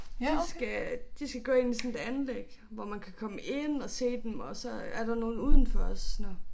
De skal de skal gå ind i sådan et anlæg hvor man kan komme ind og se dem og så er der nogle udenfor også nåh